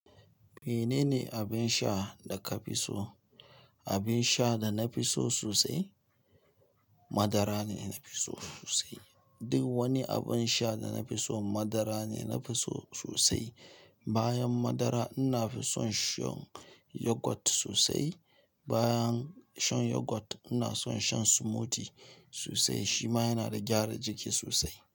Menene abin sha da ka fi so? Abin sha da na fi so sosai, madara ne na fi so sosai. Duk wani abin sha da na fi so madara ne na fi so sosai. Bayan madara ina fi son shan yogurt sosai. Bayan shan yogurt ina son shan smoothie sosai. Shi ma yana da gyara jiki sosai.